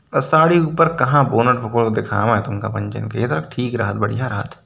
साड़ी ऊपर कहा दिखावा तुम का पंचेन के | ठीक रहत बढ़िया रहात।